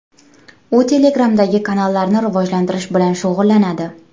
U Telegram’dagi kanallarni rivojlantirish bilan shug‘ullanadi.